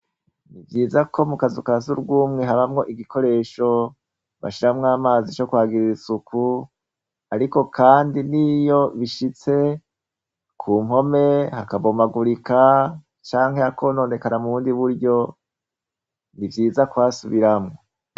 Ni vyiza ko mu kazukas urwumwe habamwo igikoresho bashramwo amazi ico kwagirira isuku, ariko, kandi niyo bishitse ku nkome hakabomagurika canke akononekara mu wundi buryo ni vyiza kwasubiramwo.